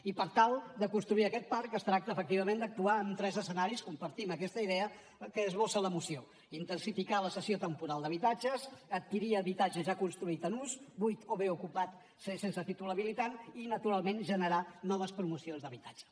i per tal de construir aquest parc es tracta efectivament d’actuar en tres escenaris compartim aquesta idea que esbossa la moció intensificar la cessió temporal d’habitatges adquirir habitatge ja construït en ús buit o bé ocupat sense títol habilitant i naturalment generar noves promocions d’habitatge